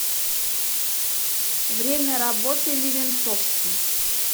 время работы левенцовский